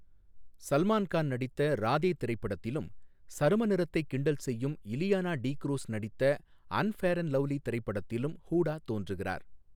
சல்மான் கான் நடித்த ராதே திரைப்படத்திலும், சரும நிறத்தைக் கிண்டல் செய்யும் இலியானா டி க்ரூஸ் நடித்த அன்ஃபேர் அண்ட் லவ்லி திரைப்படத்திலும் ஹூடா தோன்றுகிறார்.